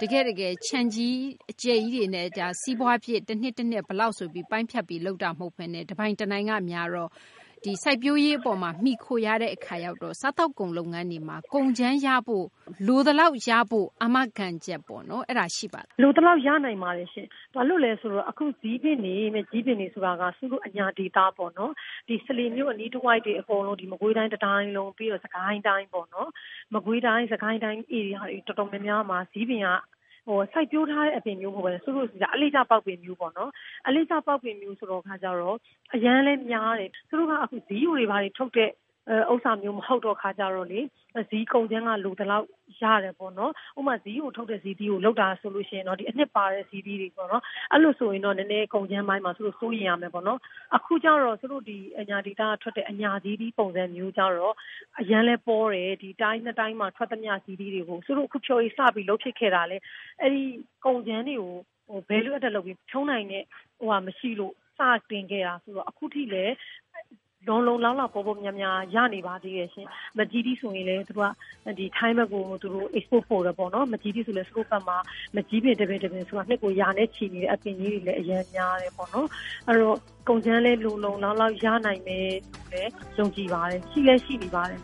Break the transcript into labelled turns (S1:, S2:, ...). S1: ခြံကြီး အကျယ်ကြီးတွေနဲ့ စီးပွားဖြစ် တနှစ် တနှစ် ဘယ်လောက် ဆိုပြီး ပိုင်းဖြတ်ပြီး လုပ်တာမျိုး မဟုတ်ဘဲ တပိုင်တနိုင်က များတော့ စိုက်ပျိုးရေး ပေါ်မှာ မှီခိုရတဲ့ အခါရောက်တော့ စားသောက်ကုန် လုပ်ငန်းတွေမှာ ကုန်ကြမ်းရဖို့၊ လိုသလောက် ရဖို့ အာမခံချက် ပေါ့နော် အဲဒါ ရှိပါသလား။
S2: လိုသလောက် ရနိုင်ပါတယ်ရှင့်။ ဘာလို့လဲ ဆိုတော့ အခု ဇီးပင်တွေ မကျည်းပင်တွေ ဆိုတာက စုတို့ အညာဒေသပေါ့နော် စလေမြို့ အနီးတဝိုက် အကုန်လုံး၊ နောက် မကွေးတိုင်း တတိုင်းလုံး၊ ပြီးတော့ စစ်ကိုင်းတိုင်းပေါ့နော်။ မကွေးတိုင်း၊ စစ်ကိုင်းတိုင်း ဧရိယာတွေ တော်တော်များများမှာ ဇီးပင်က စိုက်ပျိုးထားတဲ့ အပင်မျိုး မဟုတ်ဘဲ အလေ့ကျ ပေါက်ပင်မျိုးပေါ့နော်။ အလေ့ကျ ပေါက်ပင်မျိုး ဆိုတော့ အရမ်းလည်း များတယ်။ စုတို့က အခု ဇီးယိုတွေ ဘာတွေ ထုတ်တဲ့ ဟာမျိုး မဟုတ်တဲ့ အခါကျတော့ ဇီးကုန်ကြမ်းက လိုသလောက် ရတယ်ပေါ့နော်။ ဥပမာ ဇီးယိုထုတ်တဲ့ ဇီးသီးကို လုပ်တာဆိုရင်တော့ ဒီ အနှစ်ပါတဲ့ ဇီးသီးတွေပေါ့နော်။ အဲလို ဆိုရင်တော့ ကုန်ကြမ်းပိုင်းမှာ စိုးရိမ်ရမယ်ပေါ့။ အခုရောက်တော့ အညာဒေသက ထွက်တဲ့ အညာဇီးသီး ပုံစံမျိုးရောက်တော့ အရမ်းလည်း ပေါတယ်၊ တိုင်း ၂ တိုင်းမှာ ထွက်သမျှ ဇီးသီးတွေကို စုတို့ အခု ဖျော်ရည်စပြီး လုပ်ဖြစ်ခဲ့တာလည်း အဲဒီ ကုန်ကြမ်းတွေကို Value Added လုပ်ပြီး ဖြုန်းနိုင်မယ့်ဟာ မရှိလို့ စတင်ခဲ့တာ ဆိုတော့ အခု ထိလည်း လုံလုံလောက်လောက် ပေါပေါများများ ရနေပါသေးတယ်ရှင့်။ မန်ကျည်းသီး ဆိုရင်လည်း ထိုင်းဘက်ကို Export ပို့တယ်ပေါ့နော်။ မန်ကျည်းသီး ဆိုတာလည်း ကိုယ့်ဘက်မှာ ဆိုရင် မန်ကျည်းပင် တပင် တပင်ကို နှစ်ကို ရာနဲ့ချီ နေတဲ့ အပင်ကြီးတွေလည်း အရမ်းများတယ်ပေါ့နော်။ အဲတော့ ကုန်ကြမ်းလည်း လုံလုံလောက်လောက် ရနိုင်မယ်လို့လည်း ယုံကြည်ပါတယ်၊ ရှိလည်း ရှိနေပါတယ်